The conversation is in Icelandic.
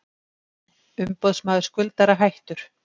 Umboðsmaður skuldara hættur